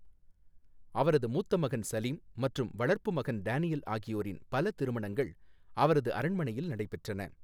அவரது மூத்த மகன் சலீம் மற்றும் வளர்ப்பு மகன் டேனியல் ஆகியோரின் பல திருமணங்கள் அவரது அரண்மனையில் நடைபெற்றன.